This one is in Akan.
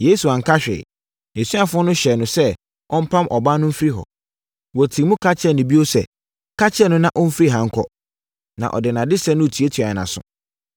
Yesu anka hwee. Nʼasuafoɔ no hyɛɛ no sɛ ɔmpam ɔbaa no mfiri hɔ. Wɔtii mu ka kyerɛɛ no bio sɛ, “Ka kyerɛ no na ɔmfiri ha nkɔ, na ɔde nʼadesrɛ no retuatua yɛn aso.”